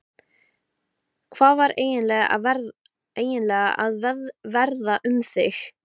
Hvað var eiginlega að verða um mig?